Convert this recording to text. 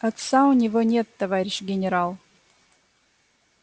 отца у него нет товарищ генерал